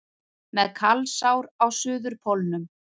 Með kalsár á Suðurpólnum